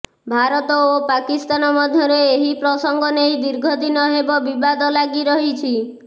ଭାରତ ଓ ପାକିସ୍ତାନ ମଧ୍ୟରେ ଏହି ପ୍ରସଙ୍ଗ ନେଇ ଦୀର୍ଘ ଦିନ ହେବ ବିବାଦ ଲାଗି ରହିଛି